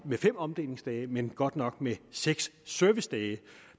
fem omdelingsdage men godt nok med seks servicedage